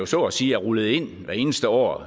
så at sige er rullet ind hvert eneste år